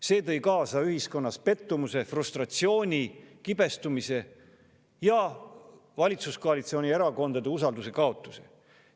See tõi ühiskonnas kaasa pettumuse, frustratsiooni, kibestumise ja valitsuskoalitsioonierakondade usalduse kaotuse.